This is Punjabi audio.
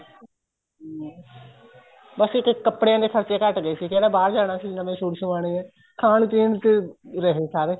ਬੱਸ ਇੱਕ ਕੱਪੜਿਆ ਦੇ ਖਰਚੇ ਘੱਟ ਗਏ ਸੀਗੇ ਕਿਹੜਾ ਬਹਾਰ ਜਾਣਾ ਸੀ ਨਵੇਂ suit ਸਵਾਣੇ ਏ ਖਾਣ ਪੀਣ ਚ ਰਹੇ ਸਾਰੇ